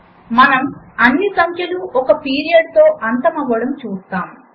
మనము అన్ని సంఖ్యలు ఒక పీరియడ్తో అంతమవ్వడం చూస్తాము